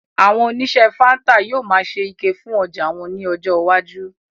Àwọn oníṣe fáńtà yóò máa ṣe ike fún ọjà wọn ní ọjọ iwájú